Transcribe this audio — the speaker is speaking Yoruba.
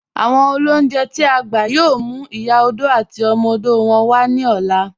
Awọn olúnjẹ̀ t'i a gbà yóò mú Ìyá òdò àti ọmọ òdò wọn wa ni ọ̀lá